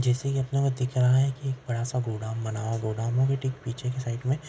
जैसे की अपने को दिख रहा है एक बड़ा सा गोडाउन बना हुआ है गोड़उन के ठीक पीछे की साइड मे --